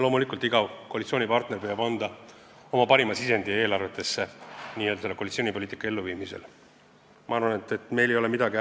Loomulikult püüab iga koalitsioonipartner koalitsioonipoliitika elluviimisel anda eelarvetesse oma parima sisendi.